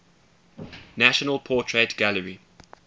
national portrait gallery